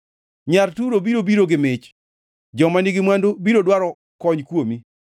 Nyar Turo biro biro gi mich, joma nigi mwandu biro dwaro kony kuomi.